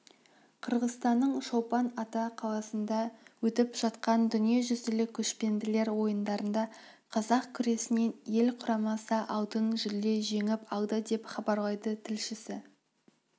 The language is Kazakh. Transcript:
қырғызстанның чолпан ата қаласында өтіп жатқан дүниежүзілік көшпенділер ойындарында қазақ күресінен ел құрамасы алтын жүлде жеңіп алды деп хабарлайды тілшісі